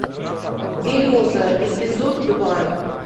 береза эпизод два